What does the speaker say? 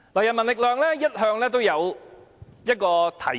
人民力量一向有一項提議。